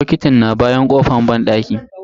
Bokitin na bayan kofan banɗakin.